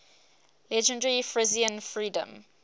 legendary frisian freedom